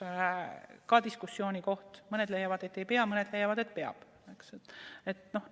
Ka see on diskussiooni koht: mõned leiavad, et ei pea, mõned leiavad, et peab.